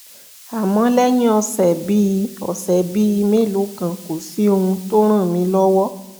àmọ́ lẹ́yìn ọ̀sẹ̀ bíi ọ̀sẹ̀ bíi mélòó kan kò sí ohun tó ràn mí lọ́wọ́